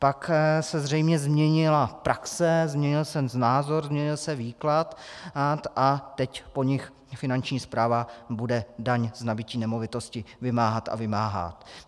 Pak se zřejmě změnila praxe, změnil se názor, změnil se výklad a teď po nich Finanční správa bude daň z nabytí nemovitosti vymáhat a vymáhá.